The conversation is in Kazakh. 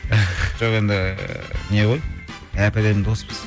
жоқ енді не ғой әп әдемі доспыз